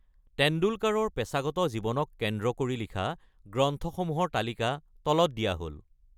টেণ্ডুলকাৰৰ পেচাগত জীৱনক কেন্দ্ৰ কৰি লিখা গ্ৰন্থসমূহৰ তালিকা তলত দিয়া হ’ল।